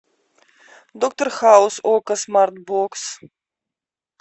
доктор хаус окко смартбокс